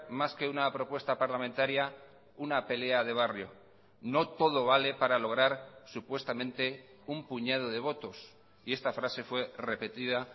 más que una propuesta parlamentaria una pelea de barrio no todo vale para lograr supuestamente un puñado de votos y esta frase fue repetida